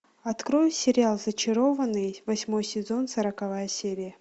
открой сериал зачарованные восьмой сезон сороковая серия